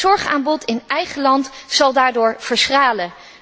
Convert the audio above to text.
Het zorgaanbod in eigen land zal daardoor verschralen.